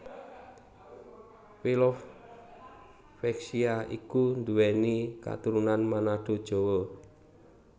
Velove Vexia iku nduwèni katurunan Manado Jawa